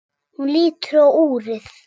Hún lítur á úrið.